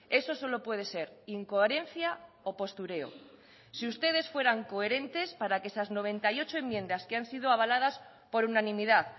eso solo puede ser incoherencia o postureo si ustedes fueran coherentes para que esas noventa y ocho enmiendas que han sido avaladas por unanimidad